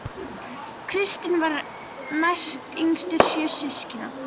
Kristinn var næstyngstur sjö systkina